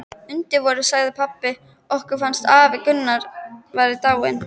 Undir vorið sagði pabbi okkur að afi Gunnar væri dáinn.